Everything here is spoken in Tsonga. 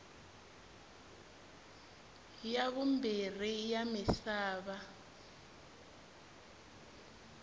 ya vumbirhi ya misava